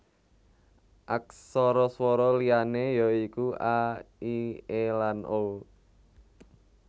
Aksara swara liyané ya iku a i é lan o